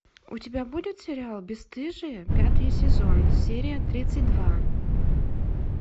у тебя будет сериал бесстыжие пятый сезон серия тридцать два